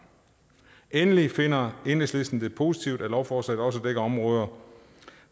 endelig finder enhedslisten det positivt at lovforslaget også dækker områder